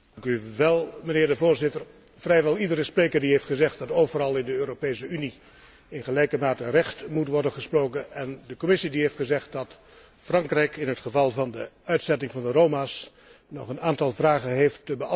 Mijnheer de Voorzitter, vrijwel iedere spreker heeft gezegd dat overal in de Europese Unie in gelijke mate recht moet worden gesproken, en de Commissie heeft gezegd dat Frankrijk in het geval van de uitzetting van de Roma nog een aantal vragen moet beantwoorden.